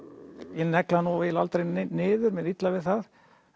ég negli hann nú eiginlega aldrei niður mér er illa við það